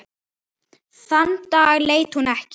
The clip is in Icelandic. Þann dag leit hún ekki.